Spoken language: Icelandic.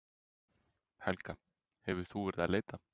Helga: Hefur þú verið að leita?